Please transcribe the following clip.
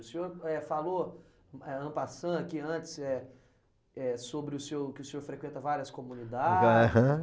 O senhor, eh, falou, eh, ampassã, que antes é é sobre o senhor, que o senhor frequenta várias comunidades.